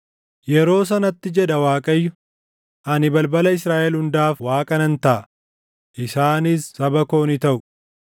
“Yeroo sanatti” jedha Waaqayyo, “Ani balbala Israaʼel hundaaf Waaqa nan taʼa; isaanis saba koo ni taʼu.”